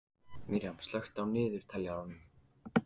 Miriam, slökktu á niðurteljaranum.